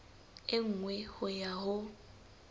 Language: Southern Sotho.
e nngwe ho ya ho